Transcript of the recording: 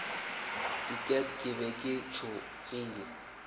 diket ke be ke tšhogile